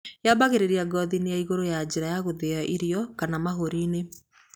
Yaambagĩrĩria ngothi-inĩ ya igũrũ ya njĩra ya gũthĩa irio kana mahũri-inĩ.